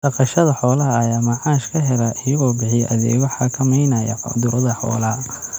Dhaqashada xoolaha ayaa macaash ka hela iyagoo bixiya adeegyo xakameynaya cudurrada xoolaha.